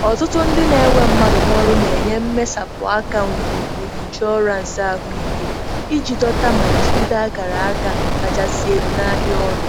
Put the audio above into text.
Ọtụtụ ndị na-ewe mmadụ n'ọrụ na-enye mmesapụ aka ngwugwu ịnshọransị ahụike iji dọta ma jigide akara aka kachasị elu n'ahịa ọrụ.